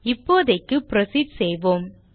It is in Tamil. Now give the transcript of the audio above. இப்போதைக்கு புரோசீட் செய்வோம்